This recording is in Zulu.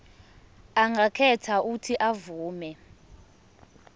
angakhetha uuthi avume